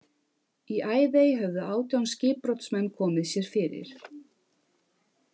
Í Æðey höfðu átján skipbrotsmenn komið sér fyrir.